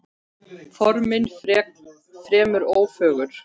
Formin fremur ófögur.